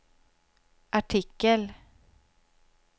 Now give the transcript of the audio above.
artikel